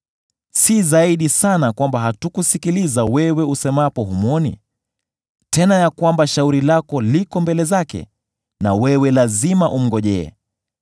Si zaidi sana kwamba hatakusikiliza wewe usemapo humwoni, tena ya kwamba shauri lako liko mbele zake na wewe lazima umngojee,